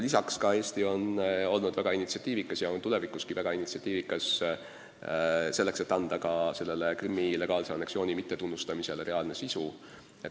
Eesti on olnud ja on edaspidigi väga initsiatiivikas, et anda Krimmi legaalse anneksiooni mittetunnustamisele reaalne sisu.